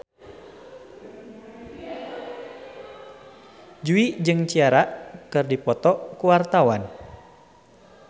Jui jeung Ciara keur dipoto ku wartawan